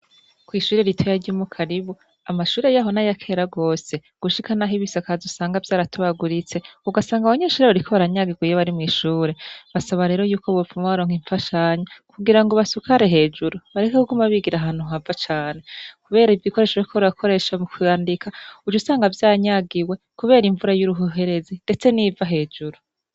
Kw'ishure ritaya ry'umu karibu amashure yahona yakera rwose gushika, naho ibisakaz usanga vy'aratabaguritse ugasanga abanyensh urerbariko baranyagiweye bari mw'ishure basaba rero yuko bubpfa ma baronka imfashanya kugira ngo basukare hejuru bareke kukoma abigira hantu hava cane, kubera ivyo ikoresho vokorakoresha mu kandika ujo usanga vya nyagiwe, kubera imvura y'uruhuherezi, ndetse niva hejuru.